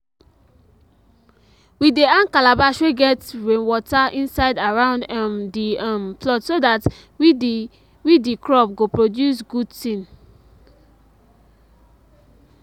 we dey hang calabash wey get rainwater inside around um the um plot so that we the we the crop go produce good thing.